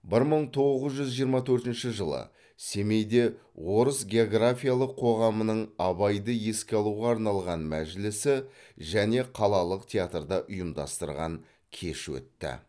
бір мың тоғыз жүз жиырма төртінші жылы семейде орыс географиялық қоғамының абайды еске алуға арналған мәжілісі және қалалық театрда ұйымдастырған кеші өтті